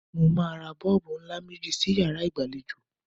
Mo máa ra bọ́ọ̀bù ńlá méjì sí yàrá ìgbàlejò.